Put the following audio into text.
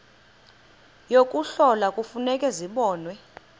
yokuhlola kufuneka zibonwe